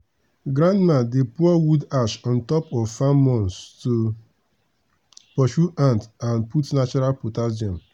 grandma dey pour wood ash on top of farm mounds to pursue ant and put natural potassium.